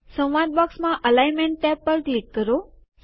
સંવાદ બોક્સમાં alignment tab પર ક્લિક કરો